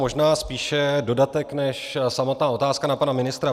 Možná spíše dodatek než samotná otázka na pana ministra.